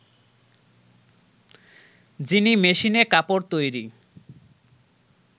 যিনি মেশিনে কাপড় তৈরি